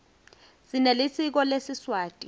sinelisiko lesiswati